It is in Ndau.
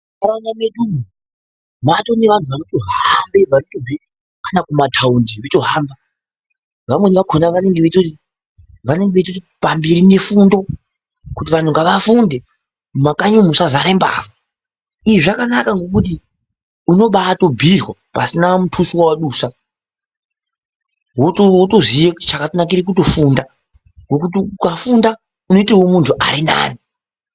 Mukanya medu umu matone vanhu vanoto hambe vanotobve kana ku mataundi veito hamba vamweni vakona vanenge veitoti pamberi ne fundo kuti vanhu ngava funde mu makanyi umu musa zare mbavha izvi zvakanaka ngekuti unobaito bhiirwa pasina mutuso wawa busa woto ziye chakato nakira kuto funda ngekuti ukafunda unoitewo muntu arinani.